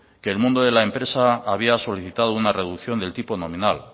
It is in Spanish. que el mundo de la empresa había solicitado una reducción del tipo nominal